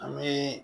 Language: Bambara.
An bɛ